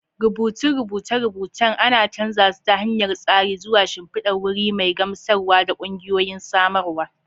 Rubutun rubuce-rubucen ana canza su ta hanyar tsari zuwa shimfidar wuri mai gamsarwa ta ƙungiyoyin samarwa.